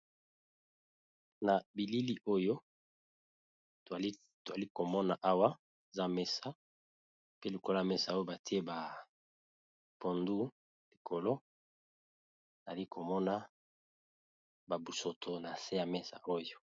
na bilili oyo twalikomona awa za mesa pe likola mesa oyo batie ba pondu likolo alikomona babusoto na se ya mesa oyo